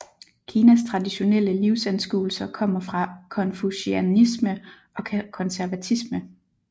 Kinas traditionelle livsanskuelser kommer fra konfucianisme og konservatisme